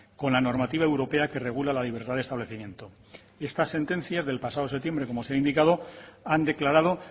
con la normativa europea que regula la libertad de establecimiento esta sentencia es del pasado septiembre como se ha indicado han declarado